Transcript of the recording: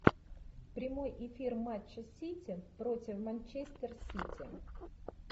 прямой эфир матча сити против манчестер сити